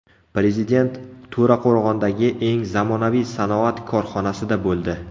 Prezident To‘raqo‘rg‘ondagi eng zamonaviy sanoat korxonasida bo‘ldi.